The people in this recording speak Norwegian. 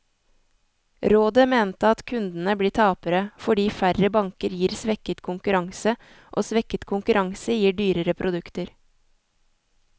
Rådet mener at kundene blir tapere, fordi færre banker gir svekket konkurranse, og svekket konkurranse gir dyrere produkter.